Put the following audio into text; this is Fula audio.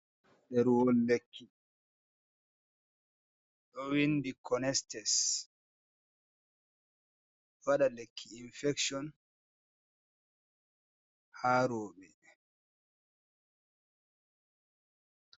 Ɗerewol lekki, ɗo winɗi konestes vaɗa. lekki infekson ha roɓe.